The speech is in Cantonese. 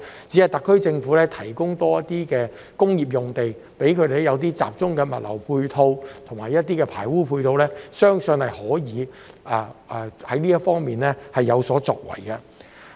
只要特區政府為相關機構增撥工業用地，以及提供集中的物流及排污配套，相信香港在這方面將有所作為。